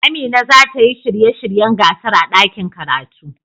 Amina za ta yi shirye shiryen gasar a ɗakin karatu.